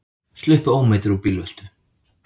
Sluppu ómeiddir úr bílveltu